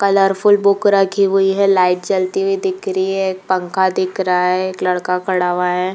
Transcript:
Colourful book रखी हुई है। लाइट जलती हुई दिख रही है। एक पंखा दिखा रहा है। एक लड़का खड़ा हुआ है।